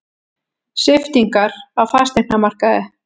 Sviptingar á fasteignamarkaði